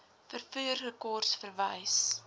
vervoer rekords verwys